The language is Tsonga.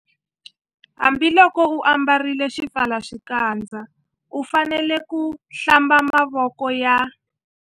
Hambiloko u ambarile xipfalaxikandza u fanele ku- Hlamba mavoko ya.